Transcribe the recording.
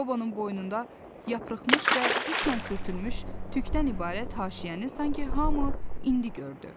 Qobonun boynunda yarıxmış və qismən sürtülmüş tükdən ibarət haşiyəni sanki hamı indi gördü.